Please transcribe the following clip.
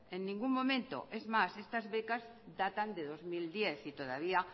en ningún momento es más estas becas datan de dos mil diez y todavía